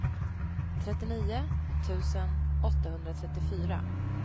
trettionio tusen åttahundratrettiofyra